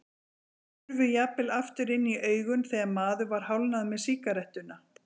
Þau hurfu jafnvel aftur inn í augun þegar maður var hálfnaður með sígarettuna.